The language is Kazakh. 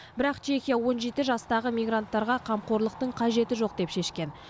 бірақ чехия он жеті жастағы мигранттарға қамқорлықтың қажеті жоқ деп шешкен